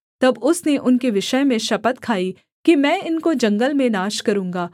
तब उसने उनके विषय में शपथ खाई कि मैं इनको जंगल में नाश करूँगा